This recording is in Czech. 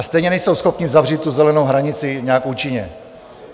A stejně nejsou schopni zavřít tu zelenou hranici nějak účinně.